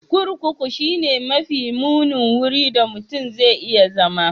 Kurkuku shine mafi munin wurin da mutum zai iya zama.